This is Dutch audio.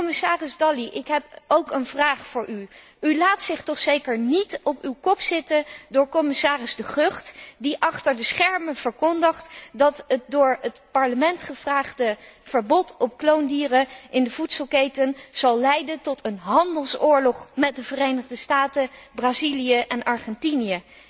Commissaris Dalli, ik heb ook een vraag voor u u laat zich toch zeker niet op uw kop zitten door commissaris De Gucht die achter de schermen verkondigt dat door het Parlement gevraagde verbod op kloondieren in de voedselketen zal leiden tot een handelsoorlog met de Verenigde Staten, Brazilië en Argentinië.